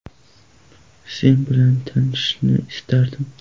Sen bilan tanishishni istadim.